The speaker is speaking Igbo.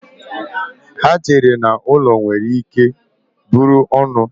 Ha chere na ụlọ nwere ike bụrụ ọnụ.